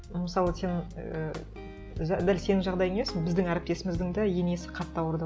мысалы сен ііі дәл сенің жағдайың емес біздің әріптесіміздің де енесі қатты ауырды